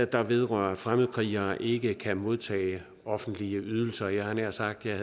der vedrører at fremmedkrigere ikke kan modtage offentlige ydelser jeg havde nær sagt at jeg